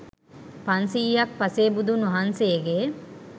පන්සියයක් පසේ බුදුන් වහන්සේගේ